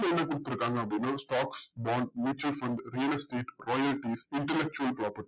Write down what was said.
இப்போ என்ன குடுத்துருக்காங்க அப்டின்னா stocks bond mutual fund real estate quality intellectual property